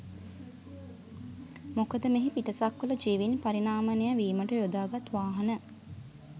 මොකද මෙහි පිටසක්වල ජීවින් පරිණාමනය වීමට යොදාගත් වාහන